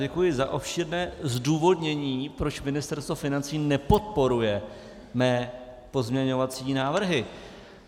Děkuji za obšírné zdůvodnění, proč Ministerstvo financí nepodporuje mé pozměňovací návrhy.